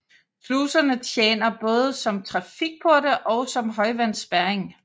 Sluserne tjener både som trafikporte og som højvandsspærring